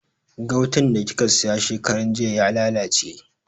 Gautan da kika siya shekarar jiya ya lalace